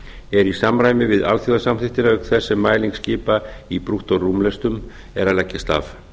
er í samræmi við alþjóðasamþykktir auk þess sem mæling skipa í brúttórúmlestum er að leggjast af